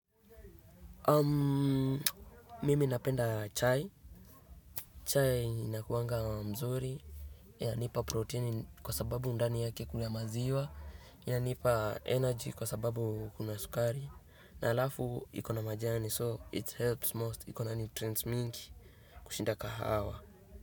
Mimi napenda chai. Chai inakuanga mzuri, ya nipa proteni kwa sababu ndani yake kuna maziwa, ya nipa energy kwa sababu kuna sukari. Na alafu iko na majani so it helps most ikona nutrients mingi kushinda kahawa.